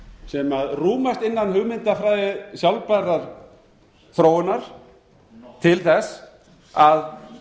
sem rúmast innan hugmyndafræði sjálfbærrar þróunar nohh til þess að